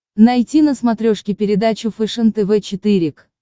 найти на смотрешке передачу фэшен тв четыре к